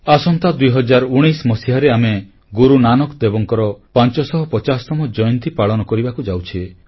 ଆସନ୍ତା ଦୁଇହଜାର ଉଣେଇଶ ମସିହାରେ ଆମେ ଗୁରୁ ନାନକ ଦେବଙ୍କର ପାଂଚଶହ ପଚାଶତମ ଜୟନ୍ତୀ ପାଳନ କରିବାକୁ ଯାଉଛେ